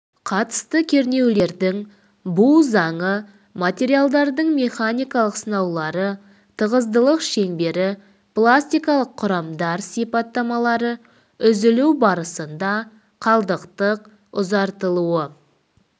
қатысты кернеулердің бу заңы материалдардың механикалық сынаулары тығыздылық шеңбері пластикалық құрамдар сипаттамалары үзілу барысында қалдықтық ұзартылуы